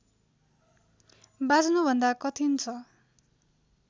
बाँच्नुभन्दा कठिन छ